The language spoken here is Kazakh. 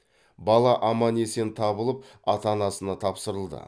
бала аман есен табылып ата анасына тапсырылды